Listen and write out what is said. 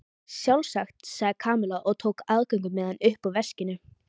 Sjálfsagt sagði Kamilla og tók aðgöngumiðann upp úr veskinu.